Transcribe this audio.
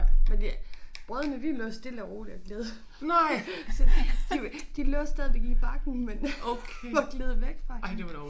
Men det brødene de lå stille og roligt og gled så de var de lå stadigvæk i bakken men gled væk fra hende